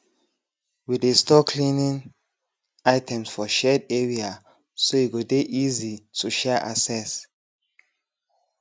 we dey store cleaning items for shared area so e go dey easy to um access